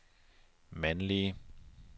mandlige